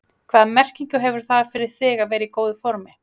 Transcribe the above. Hvaða merkingu hefur það fyrir þig að vera í góðu formi?